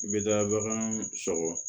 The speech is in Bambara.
N bɛ taa bagan sɔgɔ